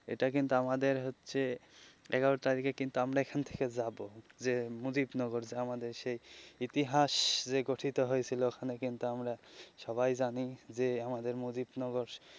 এটা কিন্তু আমাদের হচ্ছে এগারো তারিখে কিন্তু আমরা এখান থেকে যাবো যে মুদিত নগর যে আমাদের ইতিহাস গঠিত হয়েছিল ওখানে কিন্তু আমরা সবাই জানি যে আমাদের মুদিত নগর.